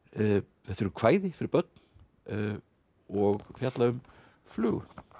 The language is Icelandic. þetta eru kvæði fyrir börn og fjalla um flugu